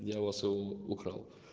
я у вас украл